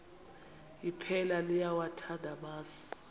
iphela liyawathanda amasi